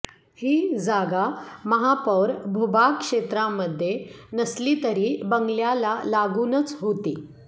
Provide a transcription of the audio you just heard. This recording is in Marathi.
ही जागा महापौर भूभाग क्षेत्रामध्ये नसली तरी बंगल्याला लागूनच होती